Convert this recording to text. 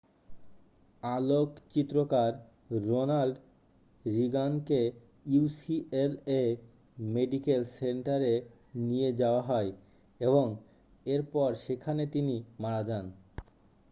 আলোকচিত্রকার Ronald রিগানকে UCLA medical সেন্টারে নিয়ে যাওয়া হয় এবং এরপর সেখানে তিনি মারা যান